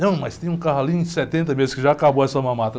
Não, mas tem um carro ali em setenta meses que já acabou essa mamata.